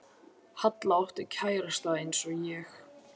Halla átti kærasta eins og ég.